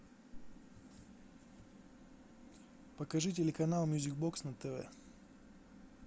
покажи телеканал мьюзик бокс на тв